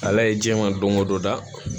Ala ye jɛman don o don da